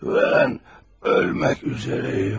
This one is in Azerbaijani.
Mən ölmək üzrəyəm.